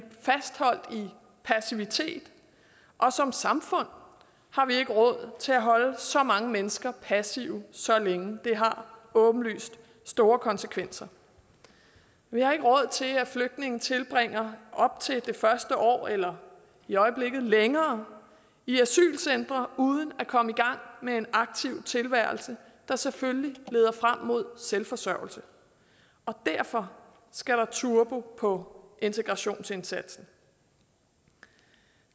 passivitet og som samfund har vi ikke råd til at holde så mange mennesker passive så længe det har åbenlyst store konsekvenser vi har ikke råd til at flygtninge tilbringer op til det første år eller i øjeblikket længere i asylcentre uden at komme i gang med en aktiv tilværelse der selvfølgelig leder frem mod selvforsørgelse og derfor skal der turbo på integrationsindsatsen